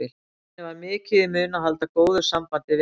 Henni var mikið í mun að halda góðu sambandi við hana.